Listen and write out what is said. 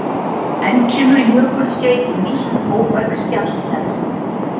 enn kemur jökulskeið og nýtt móbergsfjall hleðst upp